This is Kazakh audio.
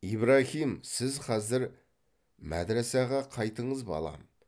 ибраһим сіз хазір мәдрәсәға қайтыңыз балам